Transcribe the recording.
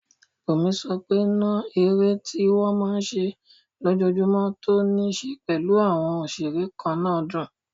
Bùnmi sọ pé náà eré tó máa n ṣe lójojúmọ́ tó ní ṣe pẹ̀lú àwọn òṣeré kannáà dùn